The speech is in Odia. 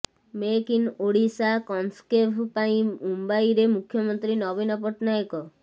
ମେକ୍ ଇନ ଓଡ଼ିଶା କନକ୍ସେଭ୍ ପାଇଁ ମୁମ୍ବାଇରେ ମୁଖ୍ୟମନ୍ତ୍ରୀ ନବୀନ ପଟ୍ଟନାୟକ